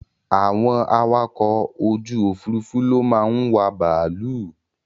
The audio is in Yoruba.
Àwọn awakọ̀ ojú òfúrúúfú ló máa ń wà bàálù